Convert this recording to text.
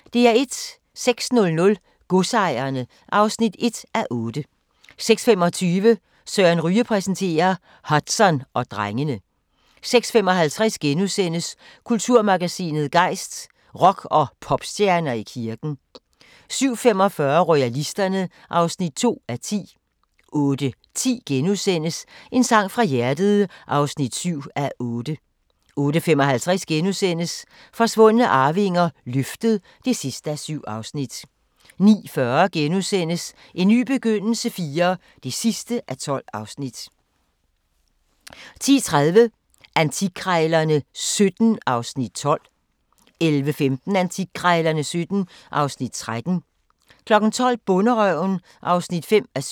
06:00: Godsejerne (1:8) 06:25: Søren Ryge præsenterer - Hudson og drengene 06:55: Kulturmagasinet Gejst: Rock- og popstjerner i kirken * 07:45: Royalisterne (2:10) 08:10: En sang fra hjertet (7:8)* 08:55: Forsvundne arvinger: Løftet (7:7)* 09:40: En ny begyndelse IV (12:12)* 10:30: Antikkrejlerne XVII (Afs. 12) 11:15: Antikkrejlerne XVII (Afs. 13) 12:00: Bonderøven (5:7)